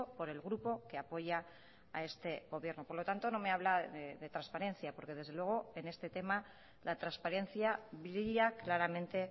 por el grupo que apoya a este gobierno por lo tanto no me habla de transparencia porque desde luego en este tema la transparencia brilla claramente